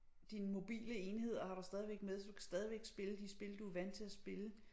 Dine mobile enheder har du stadigvæk med så du kan stadigvæk spille de spil du vant til at spille